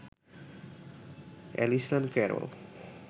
Allison Carroll